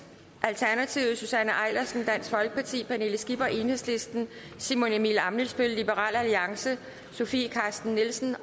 susanne eilersen pernille skipper simon emil ammitzbøll sofie carsten nielsen